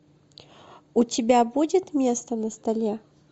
у тебя будет место на столе